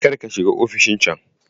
Kar ka shiga ofishin can!